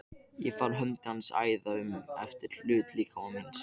Ég fann hönd hans æða um efri hluta líkama míns.